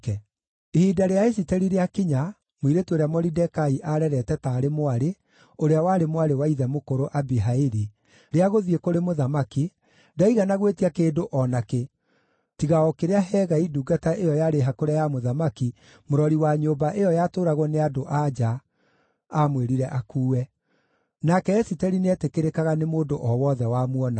Ihinda rĩa Esiteri rĩakinya (mũirĩtu ũrĩa Moridekai aarerete taarĩ mwarĩ, ũrĩa warĩ mwarĩ wa ithe mũkũrũ Abihaili) rĩa gũthiĩ kũrĩ mũthamaki, ndaigana gwĩtia kĩndũ o nakĩ, tiga o kĩrĩa Hegai ndungata ĩyo yarĩ hakũre ya mũthamaki, mũrori wa nyũmba ĩyo yatũũragwo nĩ andũ-a-nja, aamwĩrire akuue. Nake Esiteri nĩetĩkĩrĩkaga nĩ mũndũ o wothe wamuonaga.